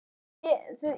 Skilið eftir?